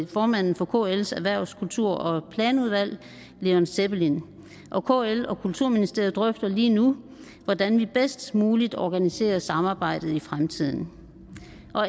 formanden for kls erhvervs kultur og planudvalg leon sebbelin kl og kulturministeriet drøfter lige nu hvordan vi bedst muligt organiserer samarbejdet i fremtiden